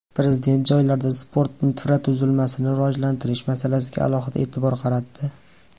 Prezident joylarda sport infratuzilmasini rivojlantirish masalasiga alohida e’tibor qaratdi.